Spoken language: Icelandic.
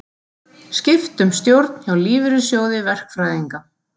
Skipt um stjórn hjá Lífeyrissjóði verkfræðinga